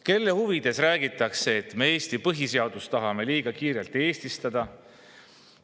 Kelle huvides räägitakse, et me tahame Eesti põhiseadust liiga kiirelt eestistada?